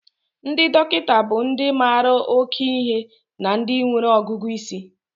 Ndị dọkịta bụ ndị mara oke ihe na ndị nwere ọgụgụ isi.